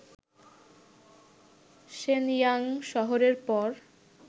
Shenyang শহরের পর